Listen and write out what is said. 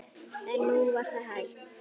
En nú var það hætt.